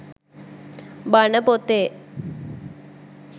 බණ පොතේ.